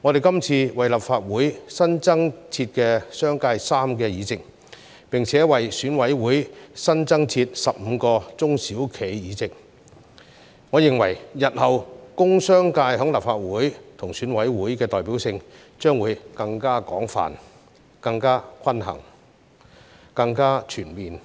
這次為立法會新增設商界議席，並且為選委會新增設15個中小企議席，我認為日後工商界在立法會和選委會的代表性將會更廣泛、更均衡、更全面。